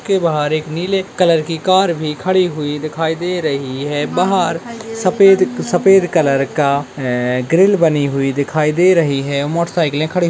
उसके बाहर एक नीले कलर की कार भी खड़ी हुई है दिखाई दे रही है बाहर सफेद सफेद कलर का ग्रिल बनी हुई दिखाई दे रही है मोटरसाइकिल खड़ी --